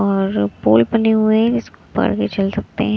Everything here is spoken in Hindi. और पोल बने हुए हैं इसको पकड़ के चल सकते हैं।